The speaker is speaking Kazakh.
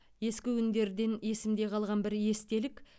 ескі күндерден есімде қалған бір естелік